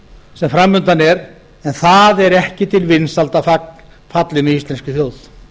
sem framundan er en það er ekki til vinsælda fallið með íslenskri þjóð